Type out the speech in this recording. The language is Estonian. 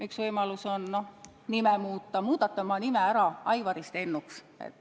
Üks võimalus on nime muuta, muudate oma nime ära Aivarist Ennuks.